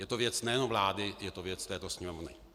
Je to věc nejenom vlády, je to věc této Sněmovny.